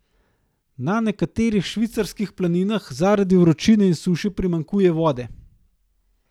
Na nekaterih švicarskih planinah zaradi vročine in suše primanjkuje vode.